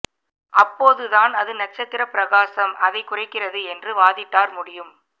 அப்போது தான் அது நட்சத்திர பிரகாசம் அதை குறைகிறது என்று வாதிட்டார் முடியும்